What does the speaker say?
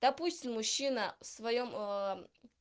допустим мужчина в своём